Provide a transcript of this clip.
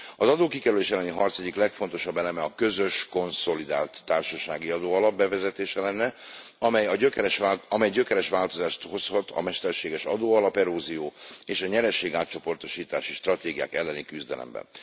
Az adókikerülés elleni harc egyik legfontosabb eleme a közös konszolidált társasági adóalap bevezetése lenne, amely gyökeres változást hozhat a mesterséges adóalap erózió és a nyereségátcsoportosítási stratégiák elleni küzdelemben.